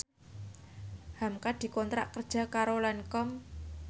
hamka dikontrak kerja karo Lancome